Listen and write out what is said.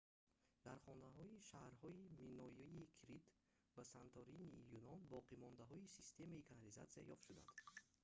дар хонаҳои шаҳрҳои минойии крит ва санторинии юнон боқимондаҳои системаи канализатсия ёфт шуданд